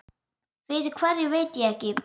Fyrir hverju veit ég ekki.